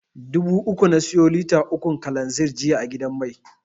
Dubu uku na siya lita ukun kalanzir jiya a gidan mai.